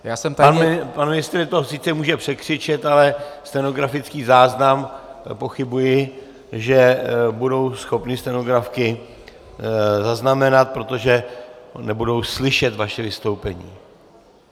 Pan ministr to sice může překřičet, ale stenografický záznam, pochybuji, že budou schopny stenografky zaznamenat, protože nebudou slyšet vaše vystoupení.